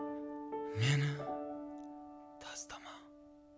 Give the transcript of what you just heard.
мені тастама